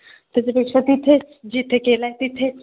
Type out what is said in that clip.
त्याच्यापेक्षा तिथेच जिथे केलंय तिथेच